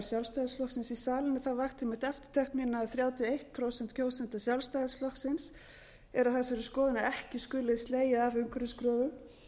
sjálfstæðisflokksins í salinn það vakti einmitt eftirtekt mína að þrjátíu og eitt prósent kjósenda sjálfstæðisflokksins eru á þessari skoðun að ekki skuli slegið af umhverfiskröfum